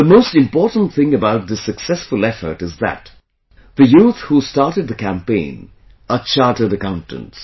The most important thing about this successful effort is that the youth who started the campaign are chartered accountants